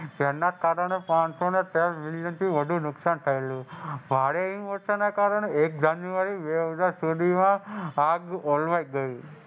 જેના કારણે પાનસોને તેર મિલિયનથી વધુ નુકસાન થયેલું. ભારે હિમવર્ષાના કારણે એક જાન્યુઆરી બે હજાર સુધી આગ ઓલવાઈ ગઈ.